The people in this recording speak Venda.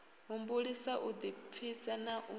humbulisa u ḓipfisa na u